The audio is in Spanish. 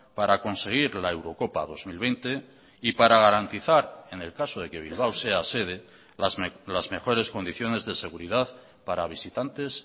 para conseguir la eurocopa dos mil veinte y para garantizar en el caso de que bilbao sea sede las mejores condiciones de seguridad para visitantes